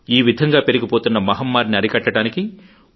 ఈ విధంగ పెరిగిపోతున్న మహమ్మారిని అరికట్టడానికి